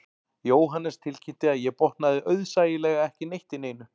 Jóhannes tilkynnti að ég botnaði auðsæilega ekki neitt í neinu